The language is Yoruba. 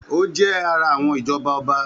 Ó jẹ́ ara àwọn ìjọba ọba.